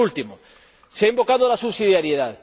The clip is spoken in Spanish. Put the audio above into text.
Pero, por último, se ha invocado la subsidiariedad.